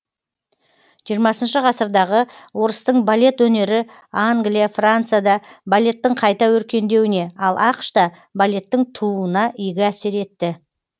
жиырмасыншы ғасырдағы орыстың балет өнері англия францияда балеттің қайта өркендеуіне ал ақш та балеттің тууына игі әсер етті